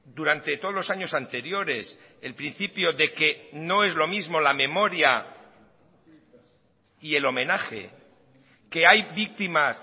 durante todos los años anteriores el principio de que no es lo mismo la memoria y el homenaje que hay víctimas